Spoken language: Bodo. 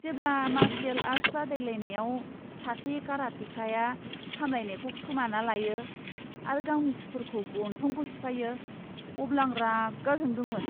जेब्ला मार्शियेल आर्ट बादायलायनायाव सासे कराटेकाया सामलायनायखौ खोमाना लायो आरो गावनि सुथुरनि गन्थंखौ सिफायो, अब्ला आं रागा जोंदोंमोन।